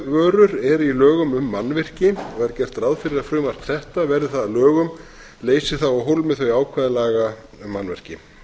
byggingarvörur eru í lögum um mannvirki er gert ráð fyrir að frumvarp þetta verði það að lögum leysi af hólmi þau ákvæði laga um mannvirki